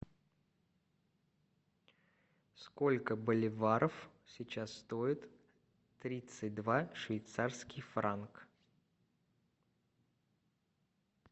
сколько боливаров сейчас стоит тридцать два швейцарский франк